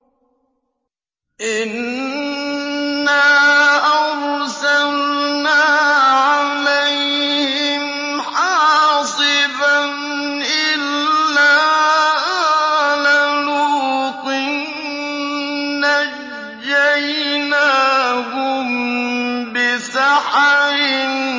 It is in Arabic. إِنَّا أَرْسَلْنَا عَلَيْهِمْ حَاصِبًا إِلَّا آلَ لُوطٍ ۖ نَّجَّيْنَاهُم بِسَحَرٍ